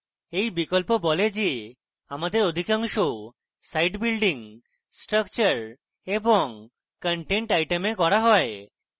এই বিকল্প বলে যে আমাদের অধিকাংশ site building structure and content items করা হয়